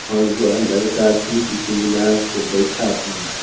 और वह लड़का भी इत्मिनान से बैठा हुआ है।